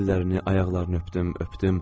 Əllərini, ayaqlarını öpdüm, öpdüm.